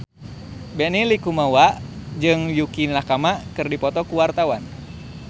Benny Likumahua jeung Yukie Nakama keur dipoto ku wartawan